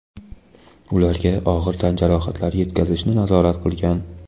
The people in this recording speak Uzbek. ularga og‘ir tan jarohatlari yetkazishni nazorat qilgan.